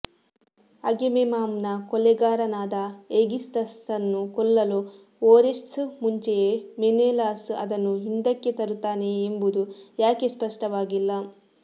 ಅಗೆಮೆಮ್ನಾನ್ನ ಕೊಲೆಗಾರನಾದ ಏಗಿಸ್ತಸ್ನನ್ನು ಕೊಲ್ಲಲು ಓರೆಸ್ಟ್ಸ್ ಮುಂಚೆಯೇ ಮೆನೇಲಾಸ್ ಅದನ್ನು ಹಿಂದಕ್ಕೆ ತರುತ್ತಾನೆಯೇ ಎಂಬುದು ಯಾಕೆ ಸ್ಪಷ್ಟವಾಗಿಲ್ಲ